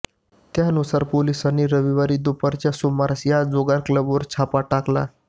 त्यानुसार पोलिसांनी रविवारी दुपारच्या सुमारास या जुगार क्लबवर छापा टाकला